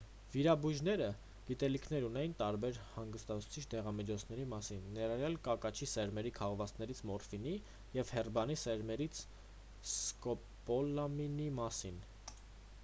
վիրաբույժները գիտելիքներ ունեին տարբեր հանգստացուցիչ դեղամիջոցների մասին ներառյալ կակաչի սերմերի քաղվածքից մորֆինի և հերբանի սերմերից սկոպոլամինի մասին